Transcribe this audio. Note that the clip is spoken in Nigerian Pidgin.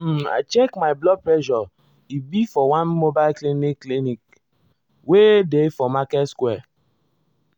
um i check my blood pressureas e be for one mobile clinic clinic wey dey for market square.